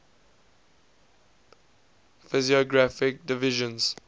physiographic divisions